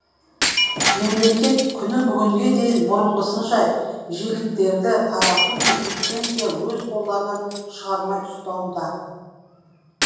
мемлекет күні бүгінге дейін бұрынғысынша жиіліктерді тарату мен лицензия өз қолдарынан шығармай ұстауда